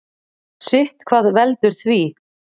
Sitthvað veldur því.